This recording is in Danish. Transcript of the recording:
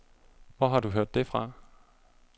Hvor har du hørt det fra?